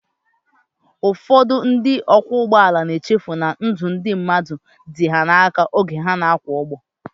Ụfọdụ ndị ọkwọụgbọala na-echefu na ndụ ndị mmadụ dị ha n'aka oge ha na-akwọ ụgbọ